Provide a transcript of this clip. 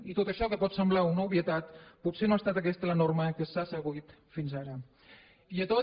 i tot això que pot semblar una obvietat potser no ha estat aquesta la norma que s’ha seguit fins ara i a tots